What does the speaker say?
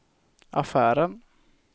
affären